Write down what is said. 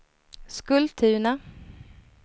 Skultuna